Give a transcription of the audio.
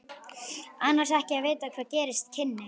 Annars ekki að vita hvað gerast kynni.